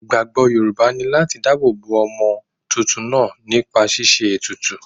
Ìgbàgbọ́ Yorùbá ni láti dá ààbò bo ọmọ tuntun náà nípa ṣíṣe ètùtù.